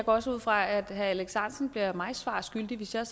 også ud fra at herre alex ahrendtsen bliver mig svar skyldig hvis jeg